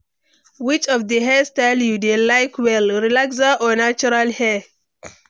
which of di hair style you dey like well, relaxer or natural hair?